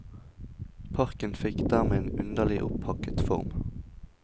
Parken fikk dermed en underlig opphakket form.